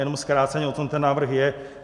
Jenom zkráceně, o čem ten návrh je.